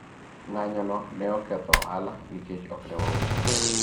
ng'anyo no ne oketho ohala nikech ok ne wauso